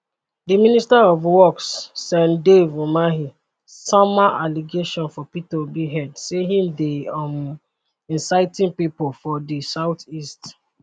di minister of works sen dave umahi sama allegation for peter obi head say im dey um inciting pipo for di southeast